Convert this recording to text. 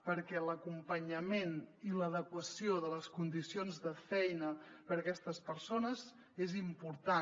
perquè l’acompanyament i l’adequació de les condicions de feina per a aquestes persones és important